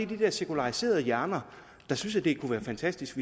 de der sekulariserede hjerner der synes at det kunne være fantastisk